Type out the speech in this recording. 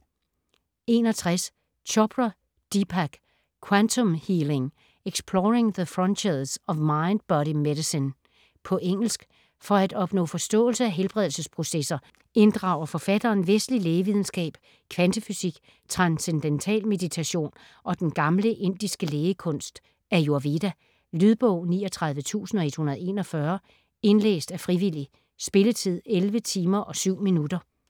61 Chopra, Deepak: Quantum healing: exploring the frontiers of mind body medicine På engelsk. For at opnå forståelse af helbredelsesprocesser inddrager forfatteren vestlig lægevidenskab, kvantefysik, transcendental meditation og den gamle indiske lægekunst ayurveda. Lydbog 39141 Indlæst af frivillig. Spilletid: 11 timer, 7 minutter.